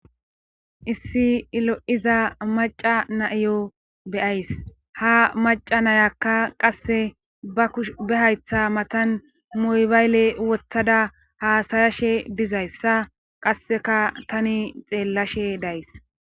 issi ilo7iza maca naiyo beyays ha maca nayakka qasse ba kush be haytha matan moybayle wothada haasayashe dizayssa qasseka tani xeellashe days